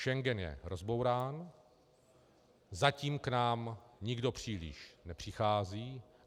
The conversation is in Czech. Schengen je rozbourán, zatím k nám nikdo příliš nepřichází.